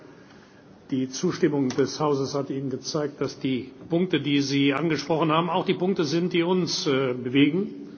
Ich glaube, die Zustimmung des Hauses hat Ihnen gezeigt, dass die Punkte, die Sie angesprochen haben, auch die Punkte sind, die uns bewegen.